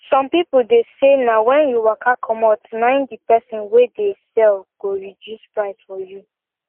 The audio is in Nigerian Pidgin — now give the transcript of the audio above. some people deh say na when you waka comot nai the person wey dey sell go reduce price for you